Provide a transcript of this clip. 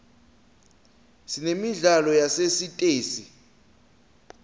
sinemidlalo yasesitesi